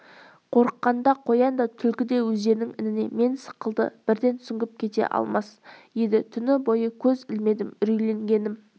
қорыққанда қоян да түлкі де өздерінің ініне мен сықылды бірден сүңгіп кете алмас еді түні бойы көз ілмедім үрейленгенім